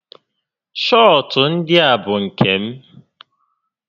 Shọọtụ ndịa bụ nke m